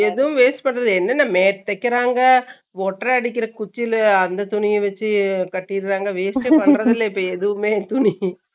இந்த waste பண்ணி என்னென்ன மே தேக்கிறாங்க, ஓட்டற அடிக்கிற குச்சில அந்த துணிய வெச்சு கட்டிருறாங்க வரத்து இல்ல இப்ப எதுமே